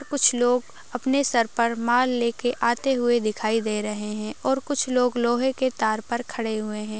तो कुछ लोग अपने सर पर माल लेके आते हुए दिखाई दे रहे हैं और कुछ लोग लोहे के तार पर खड़े हुए हैं।